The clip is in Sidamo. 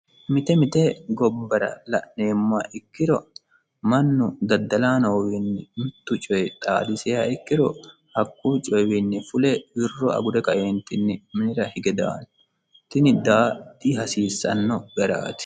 Mite mite gibbara la'numoha ikkiro mannu daddalanok wiinni mittu coy xaadisiha ikkiro hakuy coy waanni fule wirro agure ka"eenitinni minira hige daano tini daa hasiisanno garaati